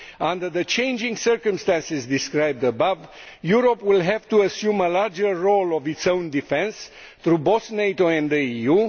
Under the changing circumstances described above, Europe will have to assume a larger role in its own defence through both NATO and the EU.